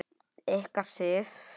Ykkar, Sif.